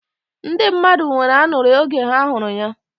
Ndi mmadụ nwere ańuri oge ha huru ya.